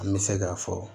An bɛ se k'a fɔ